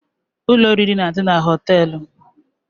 Ụlọ oriri na-adị na hóteélụ̀